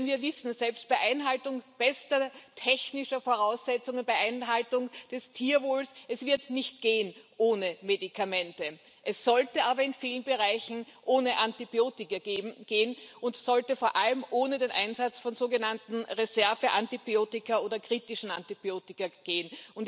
Denn wir wissen Selbst bei Einhaltung bester technischer Voraussetzungen und bei Einhaltung des Tierwohls, wird es nicht ohne Medikamente gehen. Es sollte aber in vielen Bereichen ohne Antibiotika gehen, und es sollte vor allem ohne den Einsatz von sogenannten Reserveantibiotika oder kritischen Antibiotika gehen.